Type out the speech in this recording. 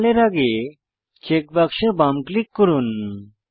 normal এর আগে check বাক্সে বাম ক্লিক করুন